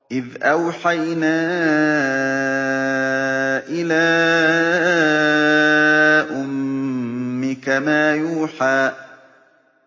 إِذْ أَوْحَيْنَا إِلَىٰ أُمِّكَ مَا يُوحَىٰ